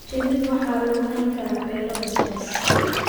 Shinida waxaa lagu hayn karaa beero basbaas.